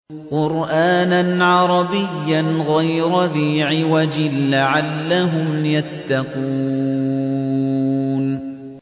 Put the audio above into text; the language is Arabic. قُرْآنًا عَرَبِيًّا غَيْرَ ذِي عِوَجٍ لَّعَلَّهُمْ يَتَّقُونَ